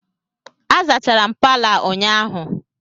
A zachara m Palọ a ụnyahụ